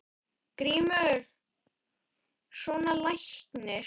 GRÍMUR: Svona læknir.